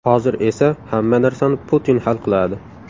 Hozir esa hamma narsani Putin hal qiladi.